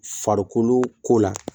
Farikolo ko la